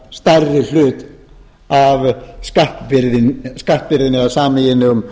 hlutfallslega stærri hlut af skattbyrðinni eða sameiginlegum